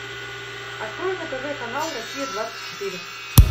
открой на тв канал россия двадцать четыре